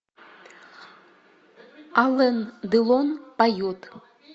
ален делон поет